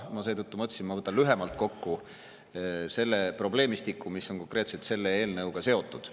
Ma seetõttu mõtlesin, et ma võtan lühemalt kokku selle probleemistiku, mis on konkreetselt selle eelnõuga seotud.